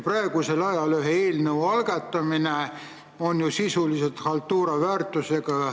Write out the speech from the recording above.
Seega on praegu ühe eelnõu algatamine sisuliselt haltuura väärtusega.